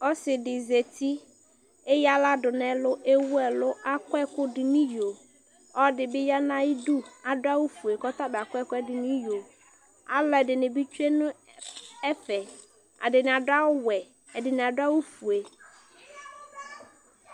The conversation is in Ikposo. ɔsɩdɩ zati eyǝ aɣla dʊ nʊ ɛlʊ, ewu ɛlʊ, akɔ ɛkʊdʊ nʊ iyo ɔlɔdɩ bɩ ya nʊ ayidu adʊ awʊ fue kʊ ɔtabɩ akɔ ɛkʊ dʊ nʊ iyo, alʊɛdɩnɩ bɩ kɔ nʊ ɛfɛ , ɛdɩnɩ adʊ awʊ wɛ, ɛdɩnɩ adʊ awʊ fue